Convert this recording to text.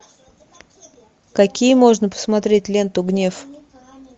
какие можно посмотреть ленту гнев